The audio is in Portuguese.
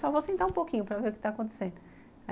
Só vou sentar um pouquinho para ver o que está acontecendo.